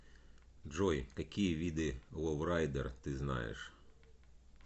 джой какие виды ловрайдер ты знаешь